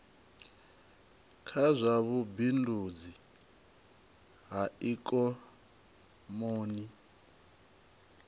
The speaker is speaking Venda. kha zwa vhubindudzi ha ikomoni